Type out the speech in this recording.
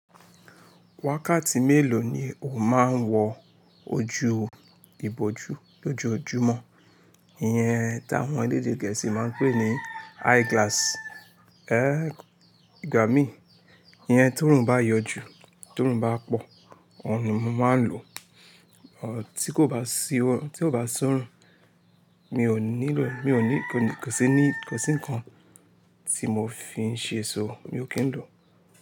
Wákàtí mélòó ni o máa ń wọ ojú ìbòjú lójoojúmọ́? Iyẹn táwọn elédè gẹ̀ẹ́sì máa ń pè ní eyeglasses. Ee gba mi, iyẹn tórun bá yọjú, tórun bá pọ̀, òun ni mo máa ń lò. Tí kò bá sí órun, tí ò bá soorùn, mi ò nílò rẹ̀, kò sí nnkan tí mò fi ń ṣe ṣó, mi ò kí ń lò.